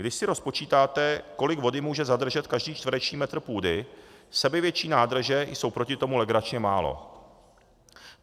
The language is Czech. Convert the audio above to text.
Když si rozpočítáte, kolik vody může zadržet každý čtverečný metr půdy, sebevětší nádrže jsou proti tomu legračně málo.